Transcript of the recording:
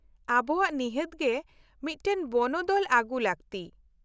-ᱟᱵᱚᱣᱟᱜ ᱱᱤᱦᱟᱹᱛ ᱜᱮ ᱢᱤᱫᱴᱟᱝ ᱵᱚᱱᱚᱫᱚᱞ ᱟᱜᱩ ᱞᱟᱹᱠᱛᱤ ᱾